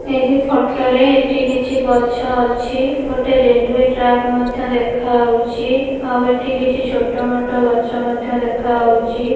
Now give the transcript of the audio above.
ଏହି ଫଟୋ ରେ ଏଠି କିଛି ଗଛ ଅଛି ଗୋଟେ ରେଲୱେ ଟ୍ରାକ୍ ମଧ୍ୟ ଦେଖାଉଚି ଆଉ ଏଠି କିଛି ଛୋଟ ମୋଟ ଗଛ ମଧ୍ୟ ଦେଖାଉଚି ।